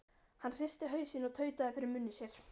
Hann hristi hausinn og tautaði fyrir munni sér